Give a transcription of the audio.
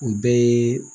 O bɛɛ ye